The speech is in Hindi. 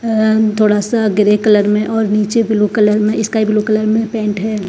अ म थोड़ा सा ग्रे कलर मे और नीचे ब्लू कलर मे स्काई ब्लू कलर मे पेंट है।